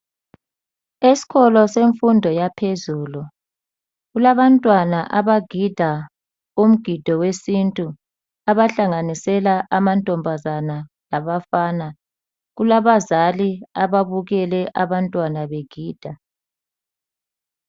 Esikolo yemfundo yaphezulu kulabantwana abagida umgido wesintu, abahlanganisela amantombazana labafana kulabazali ababukele abantwana begida.